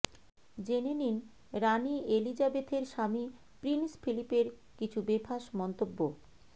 জেনে নিন রানি এলিজাবেথের স্বামী প্রিন্স ফিলিপের কিছু বেফাঁস মন্তব্য